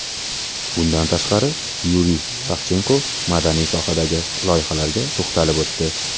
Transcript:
Bundan tashqari, Yuriy Savchenko madaniy sohadagi loyihalarga to‘xtalib o‘tdi.